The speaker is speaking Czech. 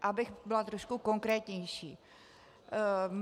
Abych byla trošku konkrétnější.